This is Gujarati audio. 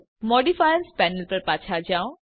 મોડિફાયર્સ પેનલ પર પાછા જાઓ